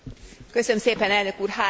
Három rövid kérdés.